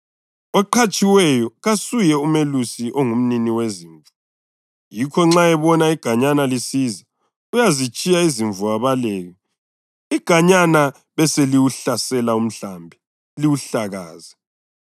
Oqhatshiweyo kasuye umelusi ongumnini wezimvu. Yikho nxa ebona iganyana lisiza, uyazitshiya izimvu abaleke. Iganyana beseliwuhlasela umhlambi liwuhlakaze.